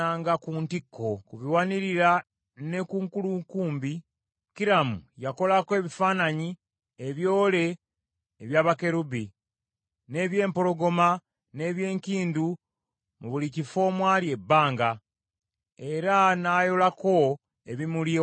Ku biwanirira ne ku nkulukumbi, Kiramu yakolako ebifaananyi ebyole ebya bakerubi, n’eby’empologoma, n’eby’enkindu mu buli kifo omwali ebbanga, era n’ayolako ebimuli okwetooloola.